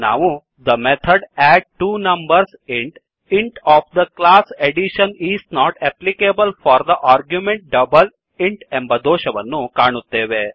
ನಾವು the method add two numbers int int of the class addition is not applicable for the argument double int ಎಂಬ ದೋಷವನ್ನುಕಾಣುತ್ತೇವೆ